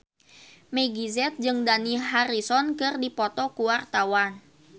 Meggie Z jeung Dani Harrison keur dipoto ku wartawan